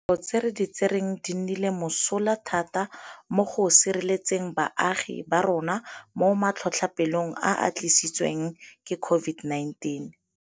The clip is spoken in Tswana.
Dikgato tse re di tsereng di nnile mosola thata mo go sireletseng baagi ba rona mo matlhotlhapelong a a tlisi tsweng ke COVID-19.